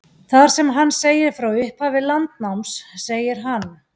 Þar sem hann segir frá upphafi landnáms segir hann: